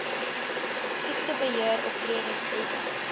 siektebe heeroptredes briewe